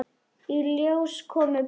Í ljós komu blöð.